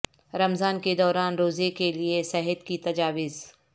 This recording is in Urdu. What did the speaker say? رمضان کے دوران روزے کے لئے صحت کی تجاویز